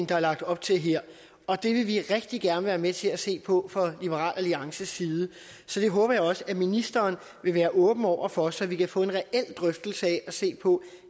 der er lagt op til her og det vil vi rigtig gerne være med til at se på fra liberal alliances side så det håber jeg også at ministeren vil være åben over for så vi kan få en reel drøftelse af og se på